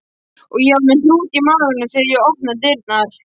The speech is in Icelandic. Ég var með hnút í maganum þegar ég opnaði dyrnar.